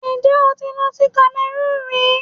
Ǹjẹ́ o ti lọ sí Kamẹrúùnù rí?